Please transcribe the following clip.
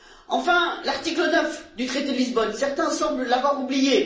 Enfin, l'article 9 du traité de Lisbonne, certains semblent l'avoir oublié.